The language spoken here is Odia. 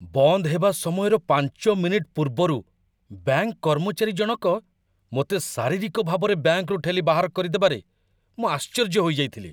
ବନ୍ଦ ହେବା ସମୟର ୫ ମିନିଟ୍ ପୂର୍ବରୁ ବ୍ୟାଙ୍କ କର୍ମଚାରୀ ଜଣକ ମୋତେ ଶାରୀରିକ ଭାବରେ ବ୍ୟାଙ୍କରୁ ଠେଲି ବାହାର କରିଦେବାରେ ମୁଁ ଆଶ୍ଚର୍ଯ୍ୟ ହୋଇଯାଇଥିଲି।